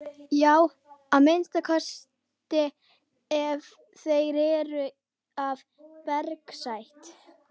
Já að minnsta kosti ef þeir eru af bergsætt.